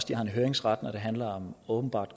de har en høringsret når det handler om åbenbart